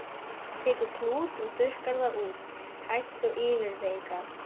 Tekur klút og þurrkar það út, hægt og yfirvegað.